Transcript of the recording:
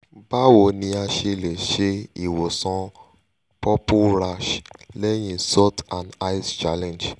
bawo ni a ṣe le ṣe iwosan purple rash lẹyin salt and ice challenge?